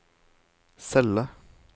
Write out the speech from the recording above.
celle